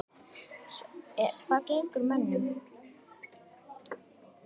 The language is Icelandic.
Hvað gengur mönnum til?